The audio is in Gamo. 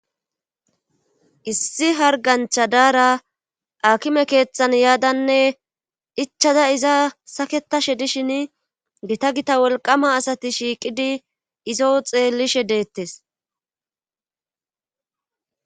Issi hargancha daara akime keeththan yaadanne ichada iza saketashe dishin gita gita wolqama asati shiiqidi izo xeellishe deettes.